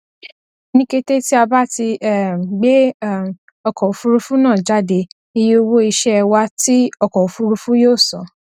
ni kete ti a ba ti um gbe um ọkọ ofurufu naa jade iye owo iṣẹ wa ti ọkọ ofurufu yoo san